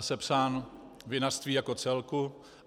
sepsán, vinařství jako celku.